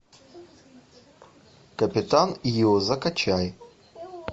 капитан ио закачай